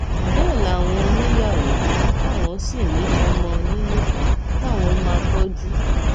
bẹẹ làwọn níyàwó táwọn sì ní ọmọ nílé táwọn máa tọjú